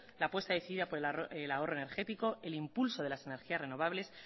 la apuesta decidida por el ahorro energético el impulso de las energías renovables